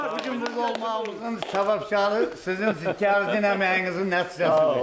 Hörmətli gün burda olmağımızın səbəbkarı sizin çəkdiyinizin, əməyinizin nəticəsidir.